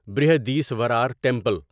Brihadeeswarar temple